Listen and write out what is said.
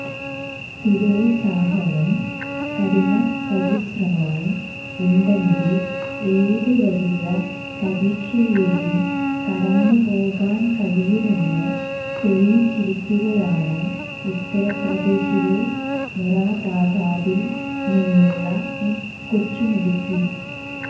സ്ഥിരോത്സാഹവും കഠിനപരിശ്രമവും ഉണ്ടെങ്കിൽ ഏത് വലിയ പരീക്ഷയെയും കടന്നു പോകാൻ കഴിയുമെന്ന് തെളിയിച്ചിരിക്കുകയാണ് ഉത്തർപ്രദേശിലെ മൊറാദാബാദിൽ നിന്നുള്ള ഈ കൊച്ചുമിടുക്കി